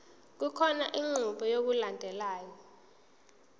kukhona inqubo yokulandelayo